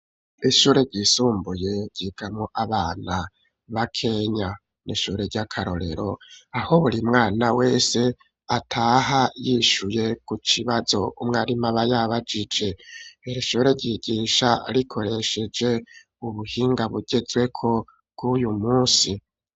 ishure ryisumbuye ryigamwo abana bakenya n'ishure ry'akarorero aho burimwana wese ataha yishuye ku kibazo umwarimu aba yabajije iri shure ryigisha rikoresheje ubuhinga bugezweko bw'uyu munsi.